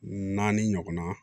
Naani ɲɔgɔnna